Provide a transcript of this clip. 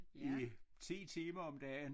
I 10 timer om dagen